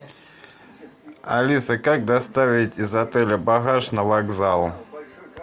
алиса как доставить из отеля багаж на вокзал